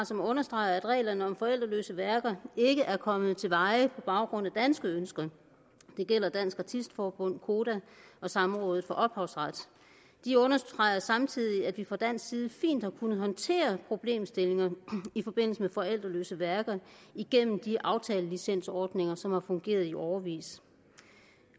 som understreger at reglerne om forældreløse værker ikke er kommet til veje på baggrund af danske ønsker det gælder dansk artist forbund koda og samrådet for ophavsret de understreger samtidig at vi fra dansk side fint har kunnet håndtere problemstillinger i forbindelse med forældreløse værker igennem de aftalelicensordninger som har fungeret i årevis